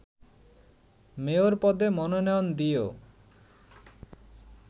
mayor পদে মনোনয়ন দিয়েও